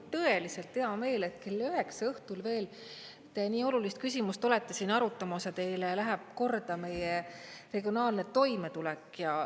Mul on tõeliselt hea meel, et kell üheksa õhtul veel te nii olulist küsimust olete siin arutamas ja teile läheb korda meie regionaalne toimetulek.